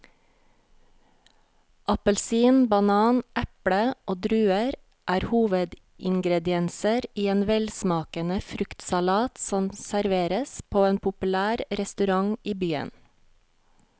Appelsin, banan, eple og druer er hovedingredienser i en velsmakende fruktsalat som serveres på en populær restaurant i byen.